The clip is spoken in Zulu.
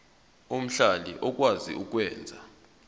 omhlali okwazi ukwenza